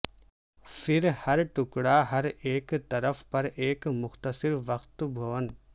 پھر ہر ٹکڑا ہر ایک طرف پر ایک مختصر وقت بھون